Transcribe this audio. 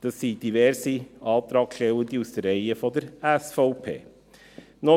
Er wurde von diversen Antragstellenden aus den Reihen der SVP gestellt.